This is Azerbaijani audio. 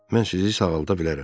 Mən sizi sağalda bilərəm.